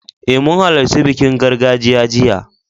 Eh, mun halarci bikin gargajiya jiya.